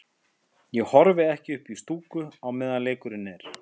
Ég horfi ekki upp í stúku á meðan leikurinn er.